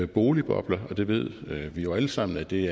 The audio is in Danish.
boligbobler og vi ved jo alle sammen at det